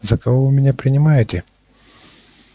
за кого вы меня принимаете